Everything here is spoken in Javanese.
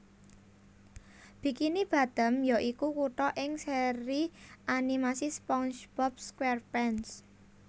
Bikini Bottom ya iku kutha ing seri animasi SpongeBob SquarePants